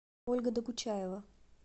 ольга докучаева